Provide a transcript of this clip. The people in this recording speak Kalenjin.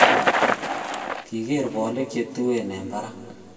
Kigeer bolik chetuen eng barak